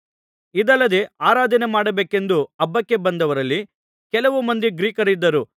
ಇದಲ್ಲದೆ ಆರಾಧನೆ ಮಾಡಬೇಕೆಂದು ಹಬ್ಬಕ್ಕೆ ಬಂದವರಲ್ಲಿ ಕೆಲವು ಮಂದಿ ಗ್ರೀಕರಿದ್ದರು